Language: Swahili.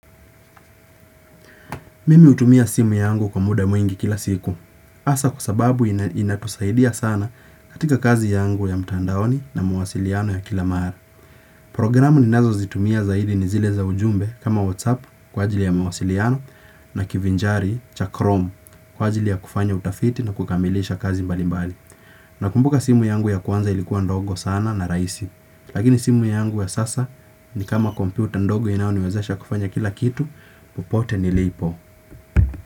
Mimi hutumia simu yangu kwa muda mwingi kila siku. Hasa kwa sababu inatusaidia sana katika kazi yangu ya mtandaoni na mawasiliano ya kila maara. Programu ninazo zitumia zaidi ni zile za ujumbe kama WhatsApp kwa ajili ya mawasiliano na kivinjari cha Chrome kwa ajili ya kufanya utafiti na kukamilisha kazi mbali mbali. Na kumbuka simu yangu ya kuanza ilikuwa ndogo sana na rahisi. Lakini simu yangu ya sasa ni kama komputer ndogo inaoni wezesha kufanya kila kitu, pupote nilipo.